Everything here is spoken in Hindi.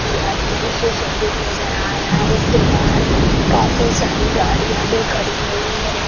थी अत्यंत सुशोभित नजर आ रहा है इसके बाहर काफी सारी गाड़ियां भी खड़ी हुई है।